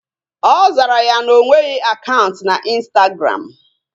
Ọ zara ya na onweghị akaụntụ na ịnstagram